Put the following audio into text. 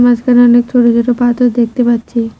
মাঝখানে অনেক ছোট ছোট পাথর দেখতে পাচ্ছি।